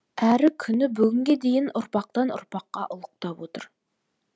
әрі күні бүгінге дейін ұрпақтан ұрпаққа ұлықтап отыр